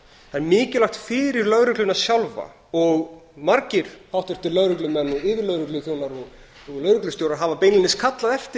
það er mikilvægt fyrir lögregluna sjálfa og margir háttvirtir lögreglumenn og yfirlögregluþjónar og lögreglustjórar hafa beinlínis kallað eftir